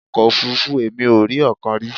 Ọkọ̀ òfuurufú! Èmi ò rí ọ̀kan rí.